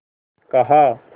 कहा